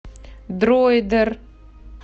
дроидер